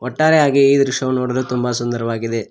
ಒಟ್ಟಾರೆಯಾಗಿ ಈ ದೃಶ್ಯವು ನೋಡಲು ತುಂಬ ಸುಂದರವಾಗಿದೆ.